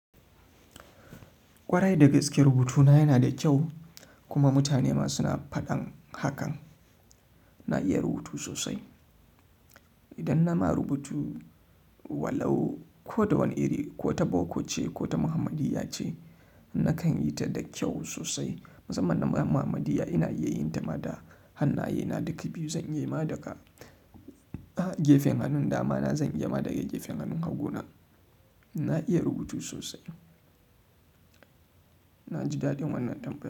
Ƙwarai da gaske rubutuna yana da kyau kuma mutane ma suna faɗan hakan. Na iya rubutu sosai. Idan na ma rubutu walau ko da wani iri ko ta boko ce ko ta muhammadiyya ce nakan yi ta da kyau sosai. Musamman na muhammadiyya ina iya yin ta ma da hannayena duka biyu. Zan iya ma daga gefen hannun dama na, zan iya ma daga gefen hannun hagu na. Na iya rubutu sosai. Na ji daɗin wannan tambayar.